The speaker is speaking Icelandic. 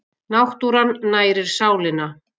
Náttúran nærir sálina.